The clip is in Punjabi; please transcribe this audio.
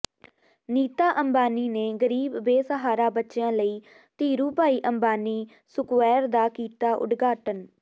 ਨੀਤਾ ਅੰਬਾਨੀ ਨੇ ਗਰੀਬ ਬੇਸਹਾਰਾ ਬੱਚਿਆਂ ਲਈ ਧੀਰੂਭਾਈ ਅੰਬਾਨੀ ਸੈਕੁਵਾਇਰ ਦਾ ਕੀਤਾ ਉਦਘਾਟਨ